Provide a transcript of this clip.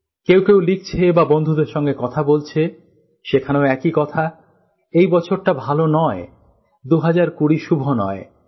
কেউ কেউ লিখছে বা বন্ধুদের সাথে কথা বলছে সেখানেও একই কথা এই বছরটা ভাল নয় ২০২০ শুভ নয়